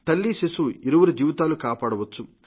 తల్లిశిశువు ఇరువురి జీవితాలు కాపాడవచ్చు